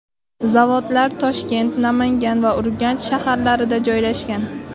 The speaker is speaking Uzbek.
Zavodlar Toshkent, Namangan va Urganch shaharlarida joylashgan.